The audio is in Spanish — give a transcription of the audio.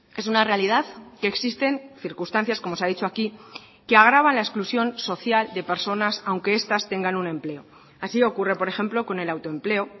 es una realidad que existen circunstancias como se ha dicho aquí que agravan la exclusión social de personas aunque estas tengan un empleo así ocurre por ejemplo con el autoempleo